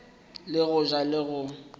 le go ja le go